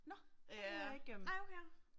Nåh, det har jeg ikke øh